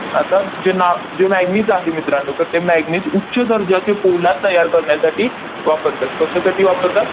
आता जे ना जे manganese आहे मित्रांनो, तर ते manganese उच्च दर्जाचे पोलाद तयार करण्यासाठी वापरतात. कशासाठी वापरतात?